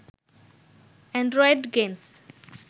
Android games